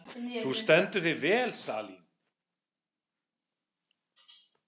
Þú stendur þig vel, Salín!